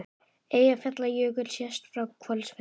Eyjafjallajökull sést frá Hvolsvelli.